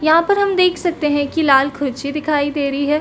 यहाँ पर हम देख सकते है की लाल खुर्ची दिखाई दे रही है।